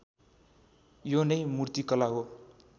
यो नै मूर्तिकलाको